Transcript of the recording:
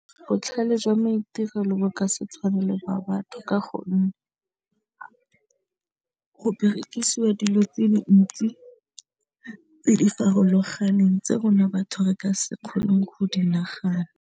Botlhale jwa maitirelo bo ka se tshwane le ba batho ka gonne go berekisiwa dilo tse dintsi tse di farologaneng tse rona batho re ka se kgoneng go di nagana.